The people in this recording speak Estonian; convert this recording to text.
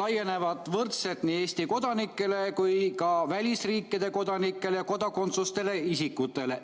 laienevad võrdselt nii Eesti kodanikele kui ka välisriikide kodanikele ja kodakondsuseta isikutele.